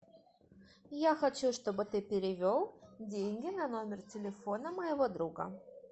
я хочу чтобы ты перевел деньги на номер телефона моего друга